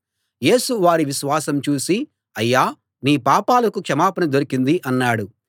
యేసు వారి విశ్వాసం చూసి అయ్యా నీ పాపాలకు క్షమాపణ దొరికింది అన్నాడు